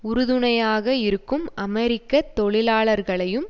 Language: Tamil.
உறுதுணையாக இருக்கும் அமெரிக்க தொழிலாளர்களையும்